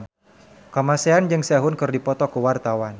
Kamasean jeung Sehun keur dipoto ku wartawan